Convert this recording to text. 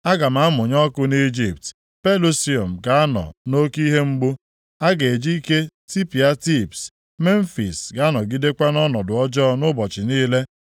Aga m amụnye ọkụ nʼIjipt, Pelusium ga-anọ nʼoke ihe mgbu. A ga-eji ike tipịa Tibs. Memfis ga-anọgidekwa nʼọnọdụ ọjọọ ụbọchị niile.